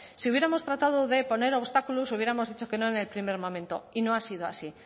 si hubiéramos tratado de poner obstáculos hubiéramos dicho que no en el primer momento y no ha sido así